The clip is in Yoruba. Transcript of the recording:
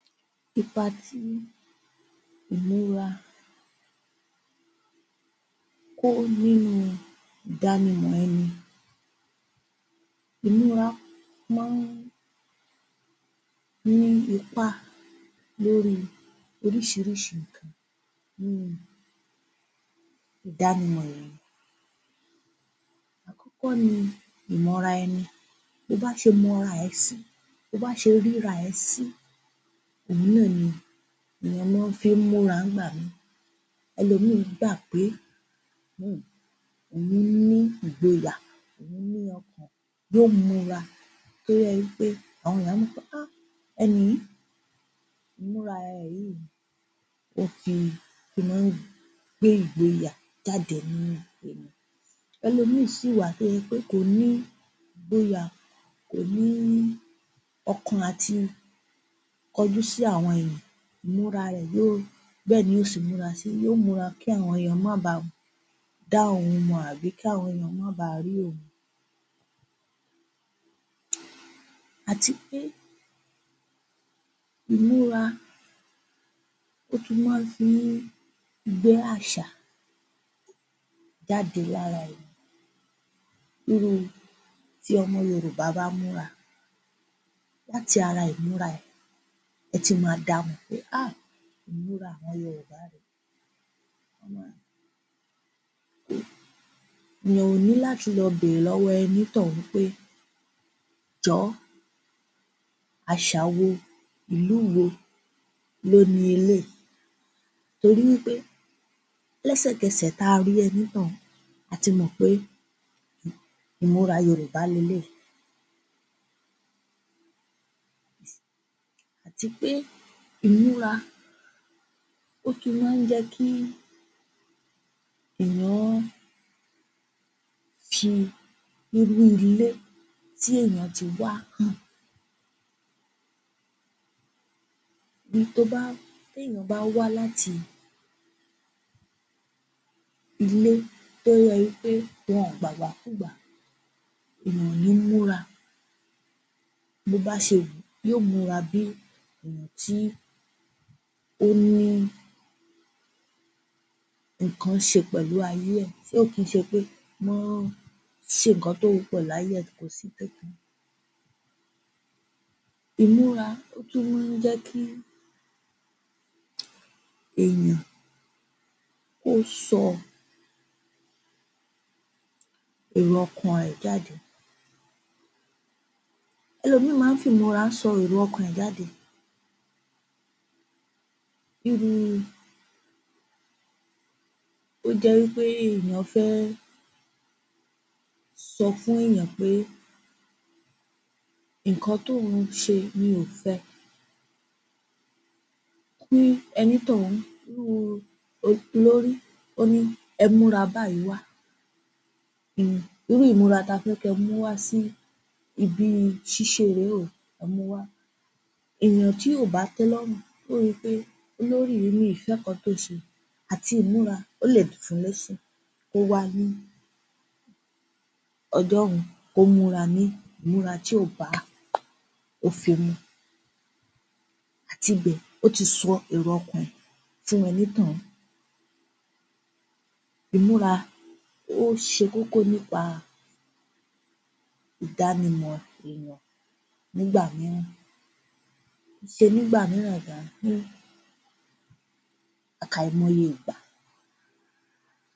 Ipa tí ìmúra wa kó nínú ìdánimọ̀ ẹni. Ìmúra máa ń ní ipá lórí oríṣiríṣi nǹkan nínu ìdánimọ̀ èèyàn. Àkọ́kọ́ ni ìmọ̀ra ẹni Bo bá ṣe mọ́ra ẹ sí bo bá ṣe ríra ẹ sí, òhun náà ni, ìyẹn lọ́ fí ń múra nígbà mi. Ẹlòmíì gbà pé um òun ni ìgboyà òun ní ọkàn yóò múra tó yẹ wí pé àwọn èèyàn á mọ wí pé um ẹni yìí, ìmúra ẹ̀ yìí, ó fi máa ń gbé ìgboyà jáde. Ẹlòmíì sì wà tó yẹ pé kò ní ìgboyà, kò ní ọkàn àti kọjú sí àwọn èèyàn, ìmúra ẹ yóò bẹ́ẹ̀ ni yóò ṣe múra si. Yóò múra kí àwọn èèyàn máa ba dá òun mọ àbí kí àwọn èèyàn máa ba rí òun. Àti pé ìmúra ó tún fi má ń fi gbé àṣà jáde lára èèyàn. Irú tí ọmọ Yorùbá bá múra, láti ara ìmúra ẹ̀ eti máa damọ̀ pé um ìmúra àwọn Yorùbá rèé. Èèyàn ò ní láti lọ bèèrè lọ́wọ́ ẹnítọ̀ún pé jọ̀ọ́ àṣà wo, ìlú wo ló ni eléyìí. Torí wí pé lẹ́sẹ̀kẹsẹ̀ ta rí ẹnítọ̀ún, a ti mọ̀ pé ìmúra Yorùbá leléyìí. Àti pé ìmúra ó tún máa ń jẹ́kí èèyàn fi irú ilé tí èèyàn ti wá bi tobá téèyàn bá wá láti ilé tó yẹ wí pé wọn ò gbàgbàkùúgbà, èèyàn ò ní múra bó bá ṣe wù ú. Yóò múra bí èèyàn tí ó ní nǹkan ṣe pẹ̀lú ayé ẹ̀ tí ò kí ń ṣe pé wọ́n ṣèkan tó wù ú pẹ̀lú ayé e Ìmúra ó tún máa ń jẹ́kí èèyàn kó sọ ẹ̀rọ-ọkàn rẹ̀ jáde. Ẹlòmíì máa ń fi ìmúra sọ ẹ̀rọ-ọkàn rẹ̀ jáde. Bí ru tó jẹ́ wí pé èèyàn fẹ́ sọ fún èèyàn pé nǹkan tóun ṣe mi ò fẹ kí ẹnítọ̀ún irú olórí ó ní, ẹ múra báyìí wá, irú ìmúra ta fẹ́ kí ẹ mú wá sí ibi ṣíṣe rèé o, ẹ muwá. Èèyàn tí ò bá tẹ́lọ́rùn yóò wí pé olórí yìí mi ò fẹ́ nǹkan tó ṣe àti ìmúra ó lè kó wá ní ọjọ́un kó múra ní ìmúra tí ò bá òfè mu. Àti bẹ̀ ó ti sọ èrò-ọkàn ẹ̀ fún ẹnítọ̀ún. Ìmúra ó ṣe kókó nípa ìdánimọ̀ èèyàn nígbà mìíràn. Kìí ṣe nígbà mìíràn gan, àkàìmọye ìgbà